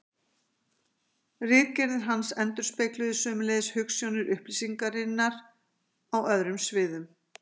ritgerðir hans endurspegluðu sömuleiðis hugsjónir upplýsingarinnar á öðrum sviðum